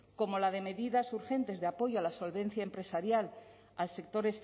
como la de medidas urgentes de apoyo a la solvencia empresarial al sector